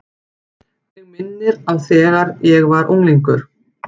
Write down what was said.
Minnir mig á þegar ég var unglingur.